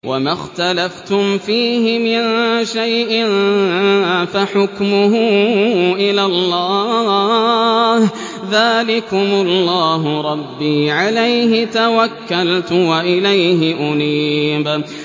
وَمَا اخْتَلَفْتُمْ فِيهِ مِن شَيْءٍ فَحُكْمُهُ إِلَى اللَّهِ ۚ ذَٰلِكُمُ اللَّهُ رَبِّي عَلَيْهِ تَوَكَّلْتُ وَإِلَيْهِ أُنِيبُ